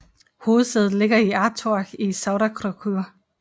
Hovedsædet ligger på Ártorg i Sauðárkrókur